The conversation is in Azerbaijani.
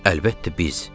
Əlbəttə biz.